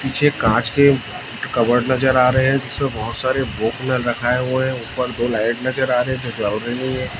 पीछे कांच के कबर्ड नजर आ रहे हैं जिसमें बोहोत सारे रखाए हुए हैं ऊपर दो लाइट नजर आ रही है जो है।